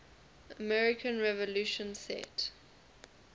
american revolution set